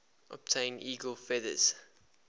obtain eagle feathers